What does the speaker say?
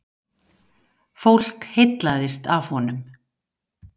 Fólk heillaðist af honum.